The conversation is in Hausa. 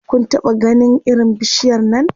Kun taɓa ganin irin bishiyar Nan?